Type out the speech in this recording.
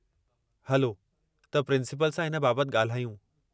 हलो त प्रिंसिपल सां इन बाबत ॻाल्हायूं।